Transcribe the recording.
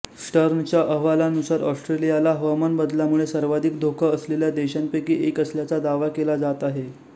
स्टर्नच्या अहवालानुसार ऑस्ट्रेलियाला हवामान बदलामुळे सर्वाधिक धोका असलेल्या देशांपैकी एक असल्याचा दावा केला जात आहे